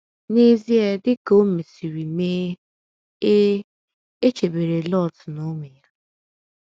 N’ezie dị ka o mesịrị mee, e, e chebere Lọt na ụmụ ya.